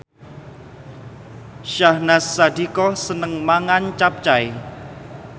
Syahnaz Sadiqah seneng mangan capcay